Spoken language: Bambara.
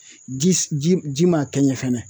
Ji ji ji ma kɛ ɲɛ fɛnɛ